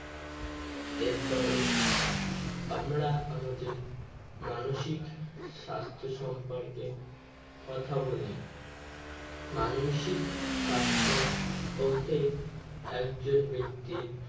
এরপরে আমরা আমাদের মানসিক স্বাস্থ্য সম্পর্কে কথা বলি মানসিক স্বাস্থ্য বলতে একজন ব্যক্তির